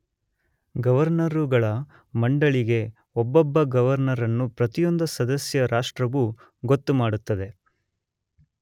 ಗವರ್ನರುಗಳ ಮಂಡಳಿಗೆ ಒಬ್ಬೊಬ್ಬ ಗವರ್ನರನ್ನು ಪ್ರತಿಯೊಂದು ಸದಸ್ಯ ರಾಷ್ಟ್ರವು ಗೊತ್ತುಮಾಡುತ್ತದೆ.